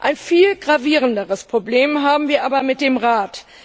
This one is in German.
Ein viel gravierenderes Problem haben wir aber mit dem Rat.